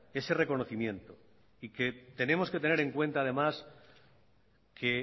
ese reconocimiento y que tenemos que tener en cuenta además que